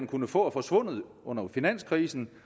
kunne få er forsvundet under finanskrisen